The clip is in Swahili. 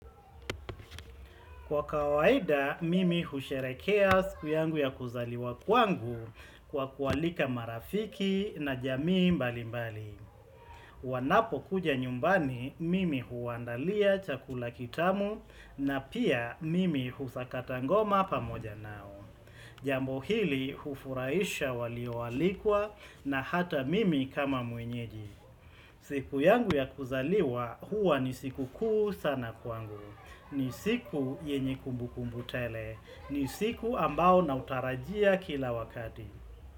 Kwa kawaida, mimi husherehekea siku yangu ya kuzaliwa kwangu kwa kuwaalika marafiki na jamii mbali mbali. Wanapo kuja nyumbani, mimi huwaandalia chakula kitamu na pia mimi husakata ngoma pamoja nao. Jambo hili hufuraisha walio alikwa na hata mimi kama mwenyeji. Siku yangu ya kuzaliwa huwa ni siku kuu sana kwangu. Ni siku yenye kumbu kumbu tele. Ni siku ambao na utarajia kila wakati.